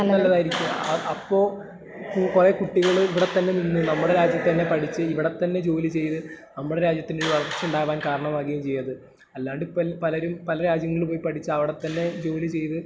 നല്ലതായിരിക്കും, അപ്പൊ കുറെ കുട്ടികള് ഇവിടെത്തന്നെ നിന്ന്, നമ്മുടെ രാജ്യത്ത് തന്നെ പഠിച്ച്...ഇവിടെത്തന്നെ ജോലി ചെയ്ത്...നമ്മട രാജ്യത്തിനൊരു വളർച്ചയുണ്ടാകാൻ കാരണമാകുകയും ചെയ്യുമത്. അല്ലാണ്ടിപ്പൊ പലരും പല രാജ്യങ്ങളിൽ പോയി പഠിച്ച് അവിടത്തന്നെ ജോലി ചെയ്ത്.....